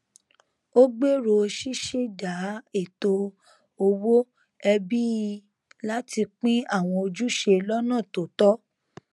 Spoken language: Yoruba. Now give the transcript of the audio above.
ó gbèrò ṣíṣẹdá ètò owó ẹbí láti pín àwọn ojúṣe lọnà tó tọ